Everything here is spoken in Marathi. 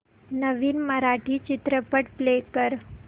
नवीन मराठी चित्रपट प्ले कर